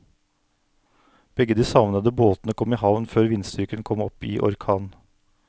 Begge de savnede båtene kom i havn før vindstyrken kom opp i orkan.